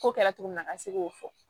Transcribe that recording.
Ko kɛra cogo min na a ka se k'o fɔ